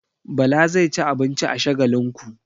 Bala zai ci abinci a Shagalinku.